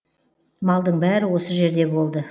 малдың бәрі осы жерде болды